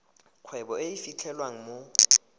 kgwebo e e fitlhelwang mo